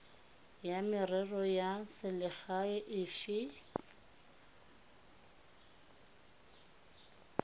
ya merero ya selegae efe